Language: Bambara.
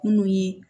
Munnu ye